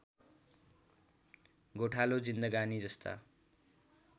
गोठालो जिन्दगानी जस्ता